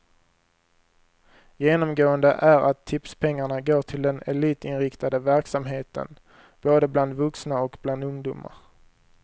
Genomgående är att tipspengarna går till den elitinriktade verksamheten, både bland vuxna och bland ungdomar.